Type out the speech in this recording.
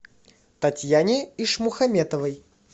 татьяне ишмухаметовой